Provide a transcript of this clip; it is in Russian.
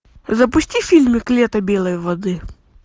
запусти фильмик лето белой воды